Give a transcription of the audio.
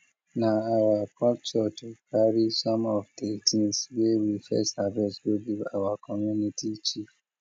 na our culture to carry some of de things wey we first harvest go give our community chief